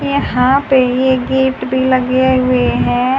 यहां पे ये गेट भी लगे हुए हैं।